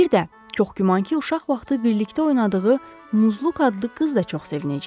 Bir də, çox güman ki, uşaq vaxtı birlikdə oynadığı Muzluq adlı qız da çox sevinəcək.